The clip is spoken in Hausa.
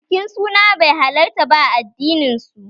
Bikin suna bai halarta ba a addinin su